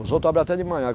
Os outros abre até de manhã.